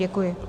Děkuji.